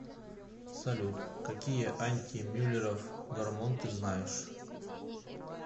салют какие антимюллеров гормон ты знаешь